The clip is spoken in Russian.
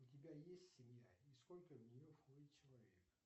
у тебя есть семья и сколько в нее входит человек